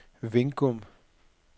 Vingum